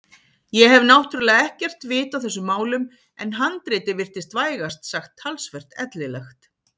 Ég hef náttúrlega ekkert vit á þessum málum en handritið virtist vægast sagt talsvert ellilegt.